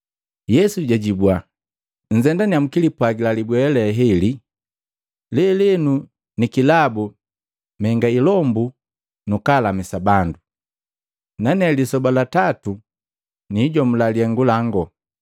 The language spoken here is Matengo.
Yesu jaajibua, “Nzendannya mkilipwagila libwea leheli, ‘Lelenu ni kilabu menga ilombu nukulamisa bandu, nane lisoba la tatu niijomula lihengu lango.’